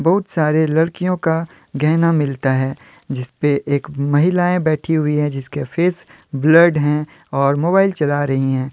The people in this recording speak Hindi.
बहुत सारे लड़कियों का गहना मिलता है जिसपे एक महिलाएं बैठी हुई हैं जिसके फेस बल्ड हैं और मोबाइल चला रही है ।